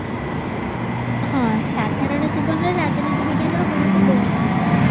ହଁ ସାଧାରଣ ଜୀବନରେ ରାଜନୀତି ବିଜ୍ଞାନର ଗୁରୁତ୍ଵ ବହୁତ ମାତ୍ରାରେ